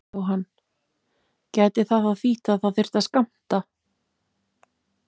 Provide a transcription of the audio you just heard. Jóhann: Gæti það þá þýtt að það þyrfti að skammta?